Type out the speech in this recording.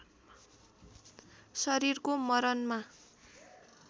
शरीरको मरणमा